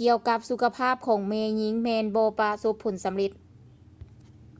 ກ່ຽວກັບສຸຂະພາບຂອງແມ່ຍິງ ແມ່ນບໍ່ປະສົບຜົນສຳເລັດ